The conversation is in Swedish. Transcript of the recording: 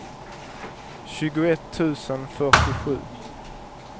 tjugoett tusen fyrtiosju